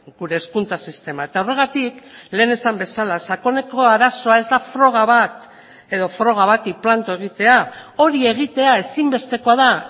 gure hezkuntza sistema eta horregatik lehen esan bezala sakoneko arazoa ez da froga bat edo froga bati planto egitea hori egitea ezinbestekoa da